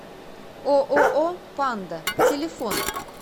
ооо панда телефон